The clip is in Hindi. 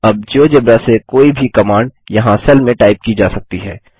अब जियोजेब्रा से कोई भी कमांड यहाँ सेल में टाइप की जा सकती है